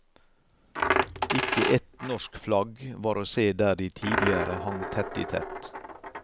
Ikke ett norsk flagg var å se der de tidligere hang tett i tett.